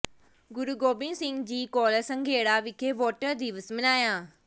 ਗੁਰੂ Gobind Singh college Sanghera ਵਿਖੇ voter ਦਿਵਸ ਮਨਾਇਆ